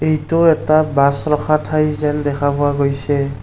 এইটো এটা বাছ ৰখা ঠাই যেন দেখা পোৱা গৈছে।